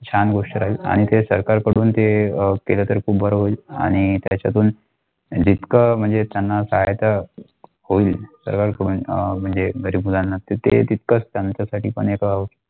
छान गोष्टी राहील आणि आणि ते आणि ते सरकार अ Curriculum आणि त्याच्यातून जितका म्हणजे त्यांना सत्यता कोण म्हणजे गरीब मुलांना तिथे तितका त्याच्या साठी पण एक.